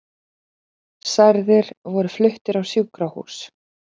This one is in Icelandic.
Særðir voru fluttir á sjúkrahús